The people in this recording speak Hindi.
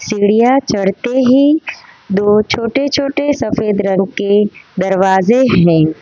सीढिया चढ़ते ही दो छोटे छोटे सफेद रंग के दरवाजे हैं।